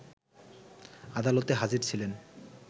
আদালতে হাজির ছিলেন